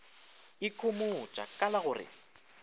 ikhomotša ka la go re